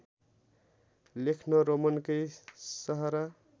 लेख्न रोमनकै सहारा